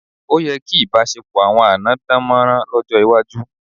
Ó yẹ kí ìbáṣepọ̀ àwọn àná dámọ̀ràn lọ́jọ́ iwájú.